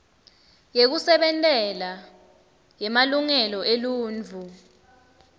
yekusebentela yemalungelo eluntfu